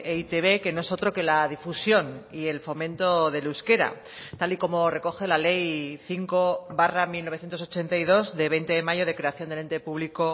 e i te be que no es otro que la difusión y el fomento del euskera tal y como recoge la ley cinco barra mil novecientos ochenta y dos de veinte de mayo de creación del ente público